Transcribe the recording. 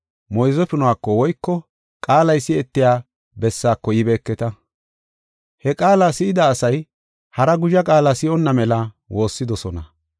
moyze punuko woyko qaalay si7etiya bessaako yibeeketa. He qaala si7ida asay hara guzha qaala si7onna mela woossidosona.